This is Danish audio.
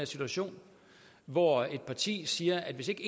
situation hvor et parti siger at hvis ikke